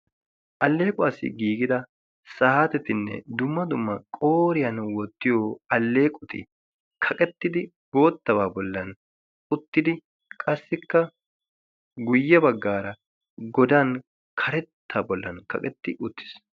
alleequwassi giigida saaatetinne dumma dumma qooriyaan woottiyo alleeqoti kaqettidi boottabaa bollan uttidi qassikka guyye baggaara godan karetta bollan kaqetti uttiis